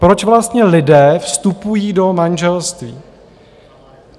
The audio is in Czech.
Proč vlastně lidé vstupují do manželství?